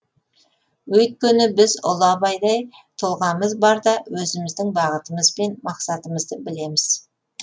өйткені біз ұлы абайдай тұлғамыз барда өзіміздің бағытымыз бен мақсатымызды білеміз